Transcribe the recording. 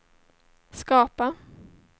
skapa